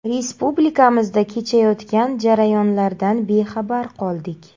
Respublikamizda kechayotgan jarayonlardan bexabar qoldik”.